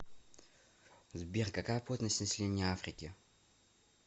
сбер какая плотность населения африки